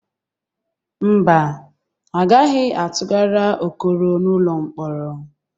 Mba, A gaghị atụgara Okoro n'ụlọ mkpọrọ.